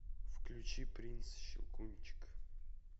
включи принц щелкунчик